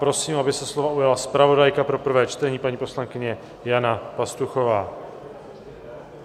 Prosím, aby se slova ujala zpravodajka pro prvé čtení, paní poslankyně Jana Pastuchová.